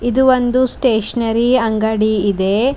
ಇದು ಒಂದು ಸ್ಟೇಷನರಿ ಅಂಗಡಿ ಇದೆ.